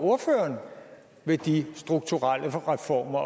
ved de strukturelle reformer